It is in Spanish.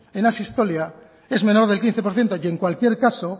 en asistolia es menor del quince por ciento y en cualquier caso